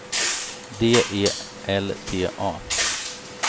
D E L T A